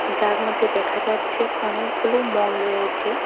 যার মধ্যে দেখা যাচ্ছে অনেকগুলো মল রয়েছে।